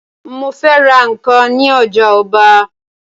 Mó fẹ́ ra nǹkan ní ojà ọba